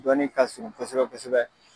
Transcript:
Dɔnni ka surun kosɛbɛ kosɛbɛ.